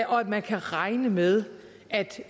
man kan regne med at